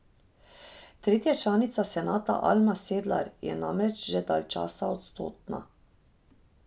Tretja članica senata Alma Sedlar je namreč že dalj časa odsotna.